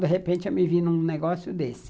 De repente, eu me vi num negócio desse.